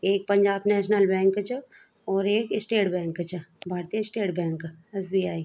एक Punjab national bank च और एक स्टेट बैंक च भारतीय स्टेट बैंक एस.बी.आई. ।